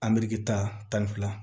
Ameriki ta tan ni fila